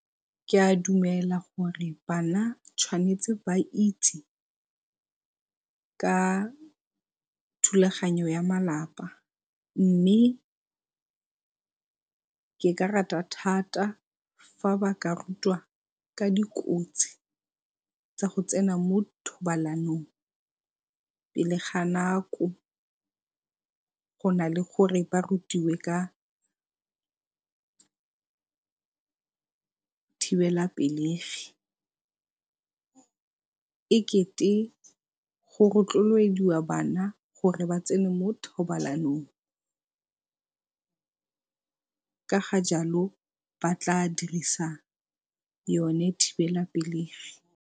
Ke a dumela gore bana tshwanetse ba itse ka thulaganyo ya malapa, mme ke ka rata thata fa ba ka rutwa ka dikotsi tsa go tsena mo thobalanong pele ga nako go na le gore ba rutiwe ka thibelapelegi e kete go rotloediwa bana gore ba tsene mo thobalanong. Ka ga jalo ba tla dirisa yone thibelapelegi.